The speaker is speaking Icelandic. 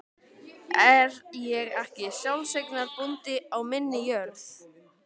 Er ég ekki sjálfseignarbóndi á minni jörð?